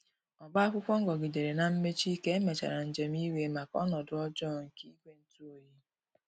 Ọba akwụkwo ngogidere na mmechi ka emechara njem iwe maka ọnodo ọjọ nke igwe ntụ ọyi